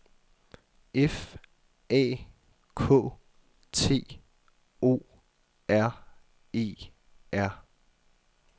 F A K T O R E R